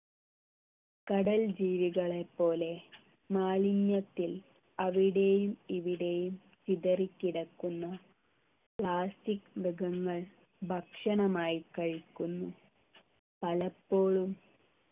കടൽ ജീവികളെ പോലെ മാലിന്യത്തിൽ അവിടെയും ഇവിടെയും ചിതറി കിടക്കുന്ന plastic മൃഗങ്ങൾ ഭക്ഷണമായി കഴിക്കുന്നു പലപ്പോഴും